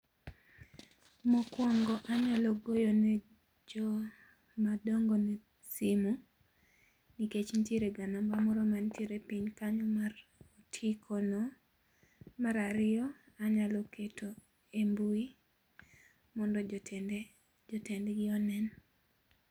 Mokuongo anyalo goyo ne joma dongone simu nikech nitiere ga namba moro manitiere piny kanyo mar otiko no, mar ariyo anyalo keto e mbui mondo jotende, jotendgi one